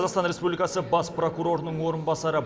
қазақстан республикасы бас прокурорының орынбасары